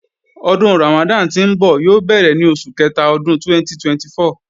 Ọdún Ramadan tí ńbọ̀ yóò bẹ̀rẹ̀ ní oṣù kẹta ọdún 2024